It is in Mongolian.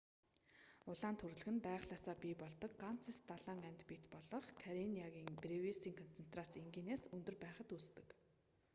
улаан түрлэг нь байгалиасаа бий болдог ганц эст далайн амьд биет болох карениагийн бревисийн концентрац энгийнээс өндөр байхад үүсдэг